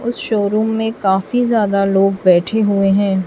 उस शोरूम में काफी ज्यादा लोग बैठे हुए हैं।